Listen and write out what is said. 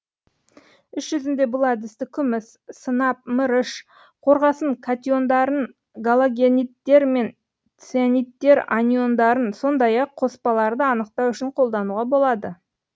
іс жүзінде бұл әдісті күміс сынап мырыш қорғасын катиондарын галогенидтер мен ционидтер аниондарын сондай ақ қоспаларды анықтау үшін қолдануға болады